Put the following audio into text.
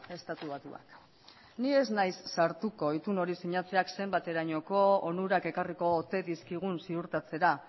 estatu batuak ni ez naiz sartuko itun hori sinatzeak zenbaterainoko onurak ekarriko ote dizkigun ziurtatzera